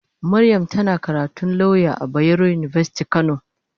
Mariam tana karatun lauya a bayaro university kano.